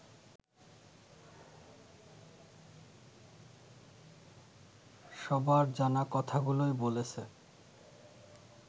সবার জানা কথাগুলোই বলেছে